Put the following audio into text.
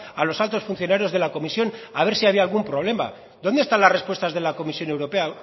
a los altos funcionarios de la comisión a ver si había algún problema dónde están las respuestas de la comisión europea